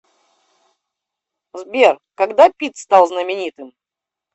сбер когда питт стал знаменитым